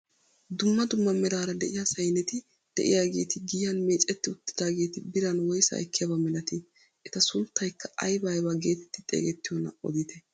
Dumma dumma meraara de'iyaa sayneti de'iyaageti giyaan micetti uttidaageti biran woysaa ekkiyaaba milatii? eta sunttaykka aybaa aybaa getetti xeegettiyoonaa odite?